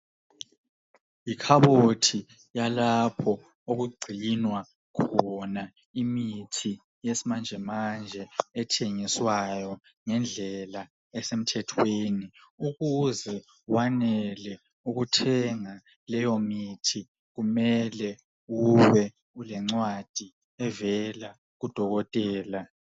Ikhabothi yalapho okugcinwa khona imithi yesimanjemanje ethengiswayo angendlela esemthetheni ukuze wenelise ukuthenga leyo mithi kumele ube lencwadi evela kudokotela